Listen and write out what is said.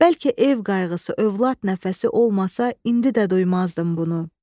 Bəlkə ev qayğısı, övlad nəfəsi olmasa, indi də duymazdım bunu.